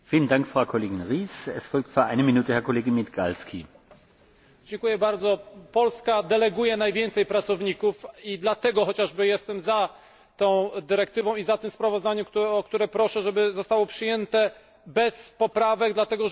Polska deleguje najwięcej pracowników i chociażby dlatego jestem za tą dyrektywą i tym sprawozdaniem, o które proszę, żeby zostało przyjęte bez poprawek, dlatego że przyjęcie tych poprawek wydłuży cała procedurę, a przyjęcie tego dokumentu jest potrzebne od razu.